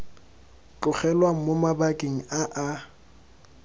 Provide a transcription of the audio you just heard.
tlogelwang mo mabakeng a a